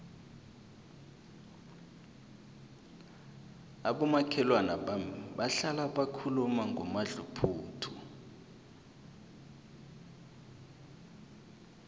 abomakhelwana bami bahlala bakhuluma ngomadluphuthu